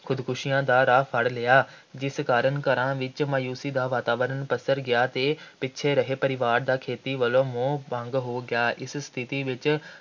ਖ਼ੁਦਕੁਸ਼ੀਆਂ ਦਾ ਰਾਹ ਫੜ੍ਹ ਲਿਆ। ਜਿਸ ਕਾਰਨ ਘਰਾਂ ਵਿੱਚ ਮਾਯੂਸ਼ੀ ਦਾ ਵਾਤਾਵਰਣ ਪਸਰ ਗਿਆ ਅਤੇ ਪਿੱਛੜ ਹਰੇ ਰਹੇ ਪਰਿਵਾਰ ਦਾ ਖੇਤੀ ਵੱਲੋਂ ਮੋਹ ਭੰਗ ਹੋ ਗਿਆ ਇਸ ਸਥਿਤੀ ਵਿੱਚ